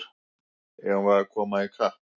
Eigum við að koma í kapp!